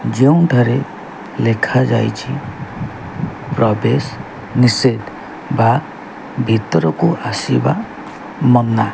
ଯେଉଁଠାରେ ଲେଖା ଯାଇଛି ପ୍ରବେଶ ନିଷେଧ ବା ଭିତରକୁ ଆସିବା ମନା।